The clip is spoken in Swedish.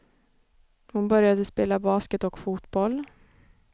Hon började spela basket och fotboll.